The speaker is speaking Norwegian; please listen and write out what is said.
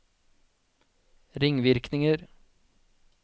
ringvirkninger